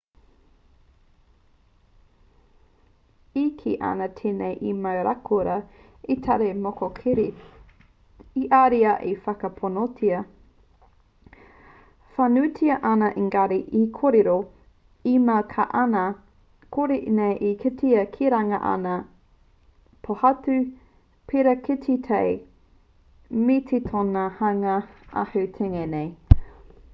e kī ana tēnei i mau raukura ētahi mokoweri he ariā e whakaponotia whānuitia ana engari he kōrero e mau ana ka kore nei e kitea ki runga anga pōhatu pērā ki te tae me te tōna hanga ahu tengi nei